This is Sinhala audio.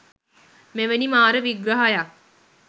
මෙවැනි මාර විග්‍රහයක්